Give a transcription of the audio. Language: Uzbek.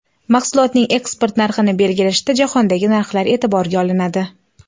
Mahsulotning eksport narxini belgilashda jahondagi narxlar e’tiborga olinadi.